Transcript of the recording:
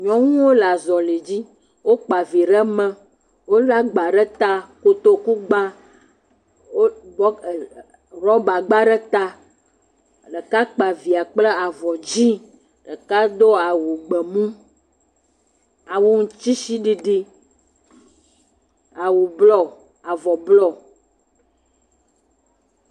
Nyɔnuwo le azɔli dzi., wokpa vi ɖe me. Wole agba ɖe ta. Kotoku gba. Wo rɔ ee rɔbagba ɖe ta. ɖeka kpa via kple avɔ dzi. Ɖeka do awu gbemu. Awu tsitsiɖiɖi. Awu blɔ, avɔ blɔ